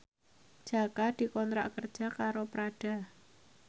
Jaka dikontrak kerja karo Prada